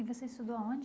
E você estudou aonde?